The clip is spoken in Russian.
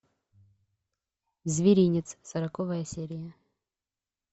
зверинец сороковая серия